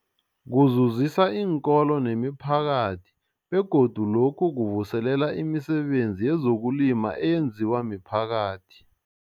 Kuzuzisa iinkolo nemiphakathi begodu lokhu kuvuselela imisebenzi yezokulima eyenziwa miphakathi.